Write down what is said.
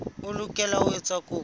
o lokela ho etsa kopo